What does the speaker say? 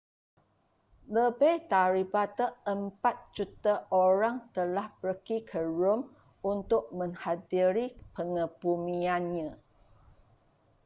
lebih daripada empat juta orang telah pergi ke rom untuk menghadiri pengebumiannya